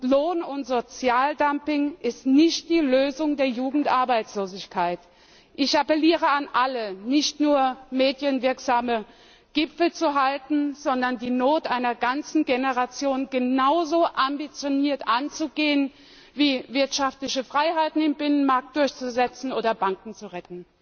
Lohn und Sozialdumping ist nicht die Lösung der Jugendarbeitslosigkeit. Ich appelliere an alle, nicht nur medienwirksame Gipfel abzuhalten, sondern die Not einer ganzen Generation genauso ambitioniert anzugehen, wie wirtschaftliche Freiheiten im Binnenmarkt durchzusetzen oder Banken zu retten.